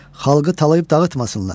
Xalqı talayıb dağıtmasınlar.